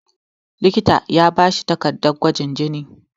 likita ya bashi takardar gwajin jini